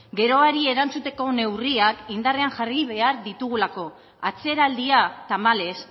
geroari erantzuteko neurriak indarrean jarri behar ditugulako atzeraldia tamalez